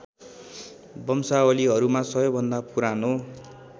वंशावलीहरूमा सबैभन्दा पुरानो